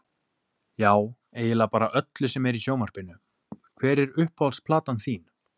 Já eiginlega bara öllu sem er í sjónvarpinu Hver er uppáhalds platan þín?